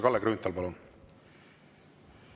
Kalle Grünthal, palun!